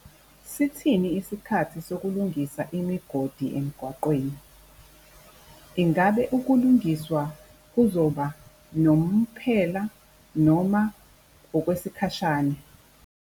Sithini isikhathi sokulungisa imigodi emgwaqweni? Ingabe ukulungiswa kuzoba nomphela noma okwesikhashana?